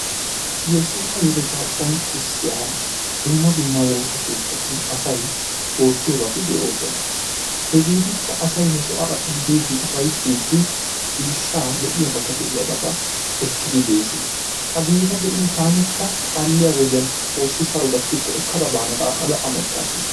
Yesuusa yeletaa donccissiya dumma dumma woossa keettatun asay oottiyoobati de'oosona. hegeetikka asay he sohuwa biidi ciishshaa lo'iyaabata ekkidi bees. hegeeta be'in taanikka kalliya wodiyan xoossi saro gatikkoekada naana gaada amottaas.